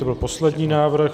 To byl poslední návrh.